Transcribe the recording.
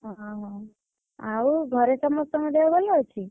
ଓହୋ! ଆଉ ଘରେ ସମସ୍ତଙ୍କ ଦେହ ଭଲ ଅଛି?